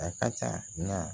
A ka ca na